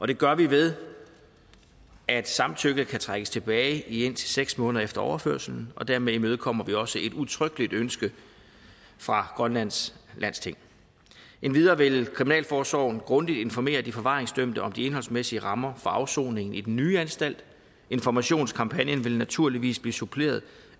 det gør vi ved at samtykket kan trækkes tilbage i indtil seks måneder efter overførslen dermed imødekommer vi også et udtrykkeligt ønske fra grønlands landsting endvidere vil kriminalforsorgen grundigt informere de forvaringsdømte om de indholdsmæssige rammer for afsoning i den nye anstalt informationskampagnen vil naturligvis blive suppleret